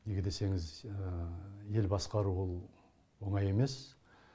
неге десеңіз ел басқару ол оңай емес